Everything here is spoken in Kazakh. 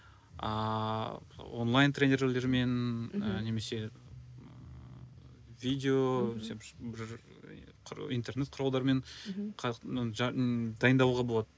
ааа онлайн тренерлермен ы немесе ыыы видео интернет құралдарымен дайындалуға болады